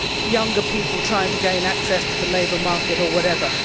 younger people trying to gain access to the labour market, or whatever.